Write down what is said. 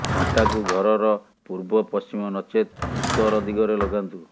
ଘଣ୍ଟାକୁ ଘରର ପୂର୍ବ ପଶ୍ଚିମ ନଚେତ ଉତ୍ତର ଦିଗରେ ଲଗାନ୍ତୁ